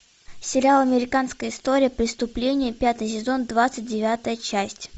сериал американская история преступлений пятый сезон двадцать девятая часть